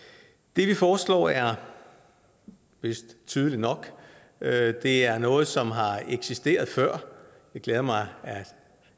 det vi foreslår er vist tydeligt nok det er noget som har eksisteret før det glæder mig